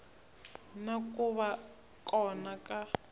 na ku va kona ka